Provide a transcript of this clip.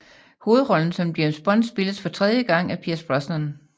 Hovedrollen som James Bond spilles for tredje gang af Pierce Brosnan